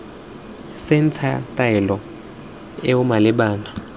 c ntsha taelo eo malebana